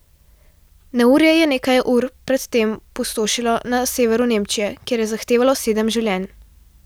Neurje je nekaj ur pred tem pustošilo na severu Nemčije, kjer je zahtevalo sedem življenj.